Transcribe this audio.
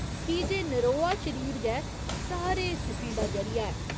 की जे नरोआ शरीर गै सारे सुखें दा जरिया ऐ।